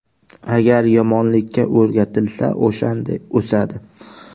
Agar yomonlikka o‘rgatilsa, o‘shanday o‘sadi.